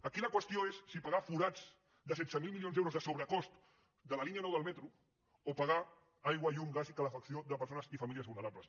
aquí la qüestió és si pagar forats de setze mil milions d’euros de sobrecost de la línia nou del metro o pagar aigua llum gas i calefacció de persones i famílies vulnerables